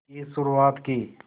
की शुरुआत की